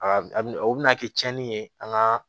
A a bina kɛ cɛni ye an ka